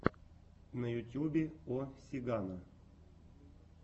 на ютьюбе о сигано